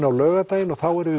á laugardaginn og þá erum